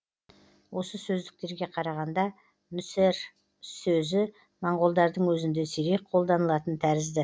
осы сөздіктерге қарағанда нүсэр сөзі моңғолдардың өзінде сирек қолданылатын тәрізді